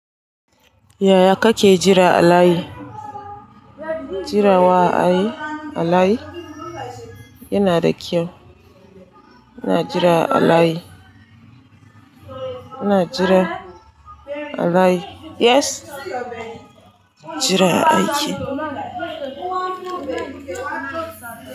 Yaya kake jira a layi? Jira wa a yi a layi yana da kyau. Ina jira a layi. Ina jira a layi. Jira a aiki, a layi.